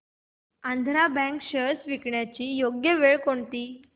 Andhra Bank shares विकण्याची योग्य वेळ कोणती